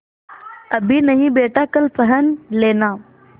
अभी नहीं बेटा कल पहन लेना